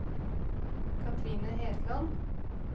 Katrine Hetland